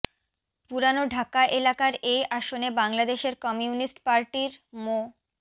পুরান ঢাকা এলাকার এই আসনে বাংলাদেশের কমিউনিস্ট পার্টির মো